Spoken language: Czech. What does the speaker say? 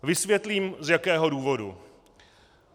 Vysvětlím z jakého důvodu.